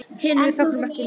Við hin fögnum ekki núna.